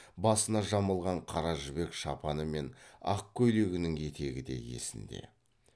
басына жамылған қара жібек шапаны мен ақ көйлегінің етегі де есінде